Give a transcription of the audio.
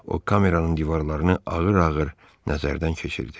O kameranın divarlarını ağır-ağır nəzərdən keçirdi.